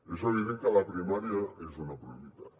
és evident que la primària és una prioritat